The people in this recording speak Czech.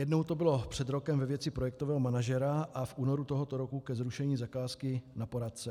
Jednou to bylo před rokem ve věci projektového manažera a v únoru tohoto roku ke zrušení zakázky na poradce.